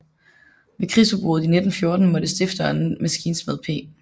Ved krigsudbruddet i 1914 måtte stifteren maskinsmed P